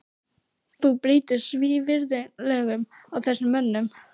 Þú brýtur svívirðilega á þessum mönnum!